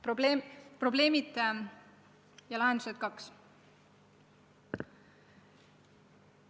Probleemkohad ja lahendused, punkt 2.